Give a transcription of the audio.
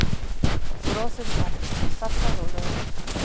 Brosir bara, sallarólegur.